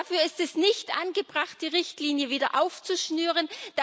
Dafür ist es nicht angebracht, die Richtlinie wieder aufzuschnüren.